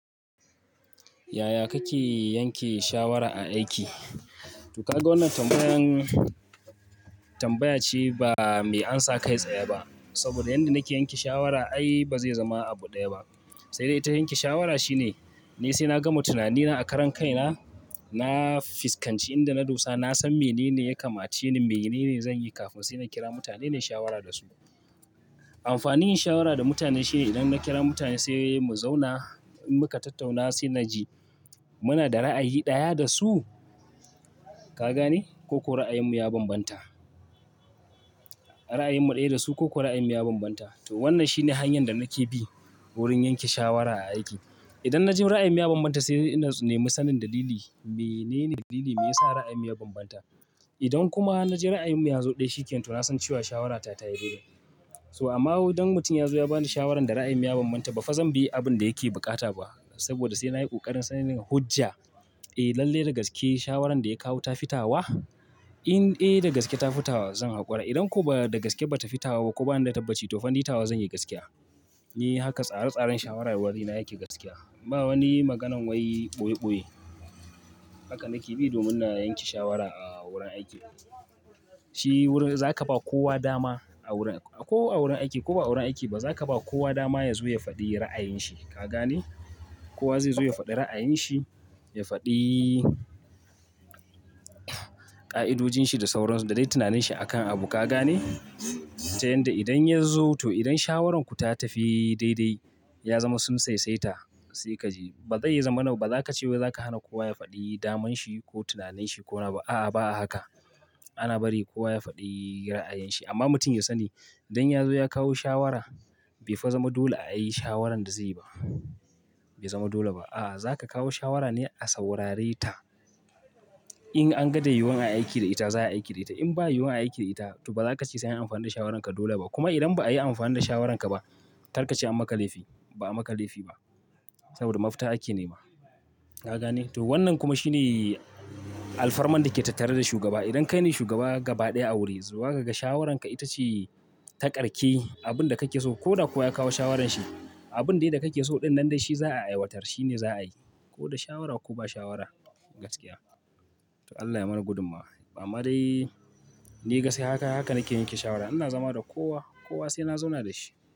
Yaya kake yanke shawara a aiki? To kaga wannan tambayan tambaya ce ba mai amsa kai tsaye ba. Saboda yanda nake yanke shawara ai bazai zama abu ɗaya ba. Sai dai ta yanke shawara shine ni sai na gama tunanina a karan kaina, na fuskanci inda na dosa, na san menene ya kamace ni, menene zanyi kafin sai na kira mutane nayi shawara dasu. Amfanin yin shawara da mutane shine idan na kira mutane sai mu zauna in muka tattauna sai naji muna da ra'ayi ɗaya dasu, ka gane? Ko ko ra'ayin mu ya bambanta. Ra'ayin mu ɗaya dasu ko ko ra'ayin mu ya bambanta. To wannan shine hanyan da nake bi wurin yanke shawara a aiki. Idan naji ra'ayin mu ya bambanta sai ina neman sanin dalili, menene dalili me yasa ra'ayinmu ya bambanta. Idan kuma naji ra'ayin mu yazo ɗaya shi kenan to na san cewa shawarata tayi daidai. To amma wai dan mutum ya zo ya bani shawaran da ra'ayin mu ya bambanta ba fa zanbi abin da yake buƙata ba. Saboda sai na yi ƙoƙarin sani da hujja, eh lalle da gaske shawaran daya kawo ta fita wa? In eh da gaske ta fita wa zan haƙura. Idan ko ba dagaske ba tafi tawa ko ba nida ta tabbaci tofa ni tawa zanyi gaskiya. Eh haka tsare tsaren shawarwarina yake gaskiya. Ba wani maganan wai ɓoye ɓoye. Haka nake bi domin na yanke shawara a wurin aiki. Shi wurin zaka ba kowa dama a wurin ko a wurin aiki ko ba a wurin aiki ba zaka ba kowa dama yazo ya faɗi ra'ayin shi, ka gane? Kowa zai zo ya faɗi ra'ayin shi, ya faɗi ƙa'idojinshi da sauransu da dai tunanin shi akan abu ka gane? Ta yanda idan yazo to idan shawaranku ta tafi daidai, ya zama sun saisaita sai kaji ba zai zamana baza kace wai za ka hana kowa ya faɗi daman shi ko tunanin shi ko nawa. A'a, ba a haka. Ana bari kowa ya faɗi ra'ayinshi. Amma mutum ya sani idan ya zo ya kawo shawara bai fa zama dole a yi shawaran da zai yi ba. Bai zama dole ba. A'a, za ka kawo shawara ne a saurare ta. In an ga da yiyiwon ayi aiki da ita za ayi aiki da ita. In ba yiyiwon ayi aiki da ita to baza kace sai anyi amfani da shawaranka dole ba. Kuma idan ba a yi amfani da shawaranka ba karkace an maka laifi. Ba'a maka laifi ba. Saboda mafita ake nema. Ka gane? To wannan kuma shine alfarman dake tattare da shugaba. Idan kaine shugaba gaba ɗaya a wuri zuwa kaga shawaranka ita ce ta ƙarke abunda kake so ko da kowa ya kawo shawarar shi, abun dai da kake so ɗin nan dai shi za'a aiwatar. Shi ne za a yi. Ko da shawara ko ba shawara. Gaskiya. To Allah ya mana gudummawa. Amma dai ni gaskiya haka nake yanke shawara. Ina zama da kowa, kowa sai na zauna dashi.